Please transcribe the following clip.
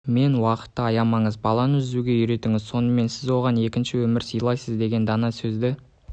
мен уақытты аямаңыз баланы жүзуге үйретіңіз сонымен сен оған екінші өмір силайсыз деген дана сөзді